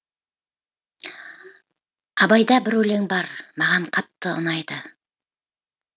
абайда бір өлең бар маған қатты ұнайды